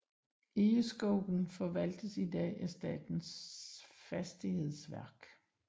Egeskogen forvaltes i dag af Statens fastighetsverk